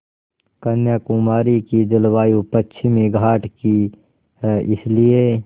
कन्याकुमारी की जलवायु पश्चिमी घाट की है इसलिए